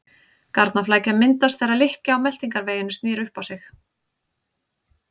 Garnaflækja myndast þegar lykkja á meltingarveginum snýr upp á sig.